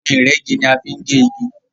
Ohun ìrẹ́gi ní a fín gé ìgi.